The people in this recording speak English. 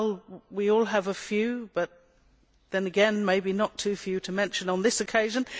Well, we all have a few but, then again, maybe not too few to mention on this occasion.